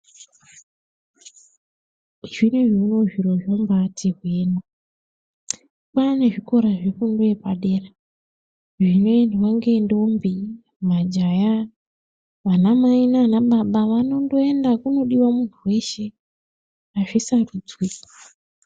Zviriyowo zviro zvinoti pane zvikora zvepadera zvinoendwa nendombi majaha vana mai nana baba vanoenda kunodiwa munhu weshe.